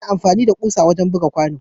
Ana amfani da kusa wurin buga kwano.